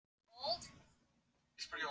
Við Linja þurfum bara einn svefnpoka.